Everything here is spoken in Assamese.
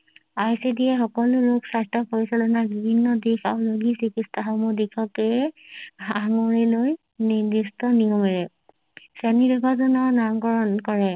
আইচিডি য়ে সকলো ৰোগ স্বাস্থ্য পৰিচালনা বিভিন্ন দিশ আৰু ৰোগী চিকিৎসা সমূহ দিশকে সাঙুৰি লৈ নিদিষ্ট নিয়মেৰে শ্ৰেণী বিভাজনৰ নাম কৰণ কৰে